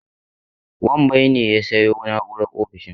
Wambai ne ya sayo na'urar ofishin.